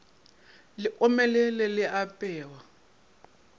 le omelele le a apewa